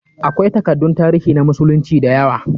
Akwai takaddun tarihi na musulunci da yawa.